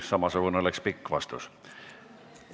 Samasugune oleks pikk vastus.